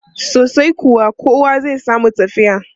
Sosai kuwa, kowa zai samu tafiya.